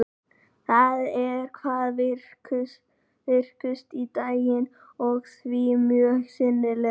Þau eru hvað virkust á daginn og því mjög sýnileg.